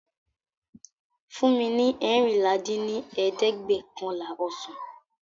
fún mi ní eérinlá dín ní ẹ̀ẹ́dẹ́gbẹ́ọ̀kànlá ọsàn!